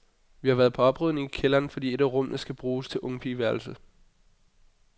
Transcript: Vi har været på oprydning i kælderen, fordi et af rummene skal bruges til ungpigeværelse.